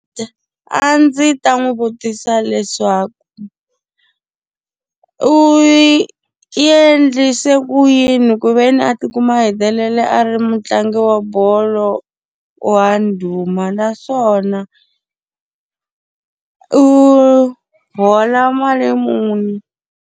A ndzi ta n'wi vutisa leswaku u u endlise ku yini ku ve ni a ti kuma a hetelele a ri mutlangi wa bolo wa ndhuma naswona u hola mali muni?